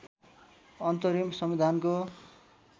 अन्तरिम संविधानको